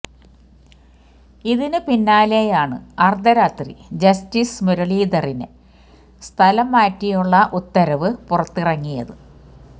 ഇതിന് പിന്നാലെയാണ് അര്ദ്ധരാത്രി ജസ്റ്റിസ് മുരളീധറിനെ സ്ഥലം മാറ്റിയുള്ള ഉത്തരവ് പുറത്തിറങ്ങിയത്